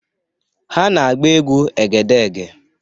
Ha na-agba egwu Egedege.